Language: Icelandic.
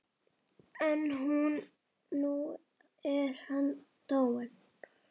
En nú er hann dáinn.